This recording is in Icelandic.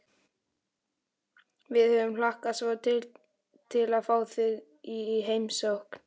Við höfum hlakkað svo til að fá þig í heimsókn